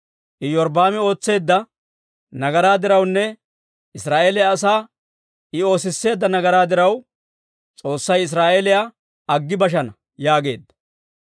Iyorbbaami ootseedda nagaraa dirawunne Israa'eeliyaa asaa I oosisseedda nagaraa diraw, S'oossay Israa'eeliyaa aggi bashana» yaageedda.